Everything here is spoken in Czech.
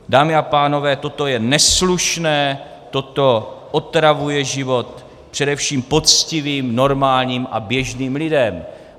Dámy a pánové, toto je neslušné, toto otravuje život především poctivým, normálním a běžným lidem.